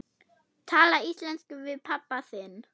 Tala íslensku við pabba þinn?